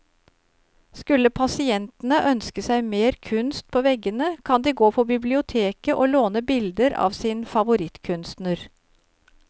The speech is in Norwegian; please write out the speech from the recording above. Skulle pasientene ønske seg mer kunst på veggene, kan de gå på biblioteket å låne bilder av sin favorittkunstner.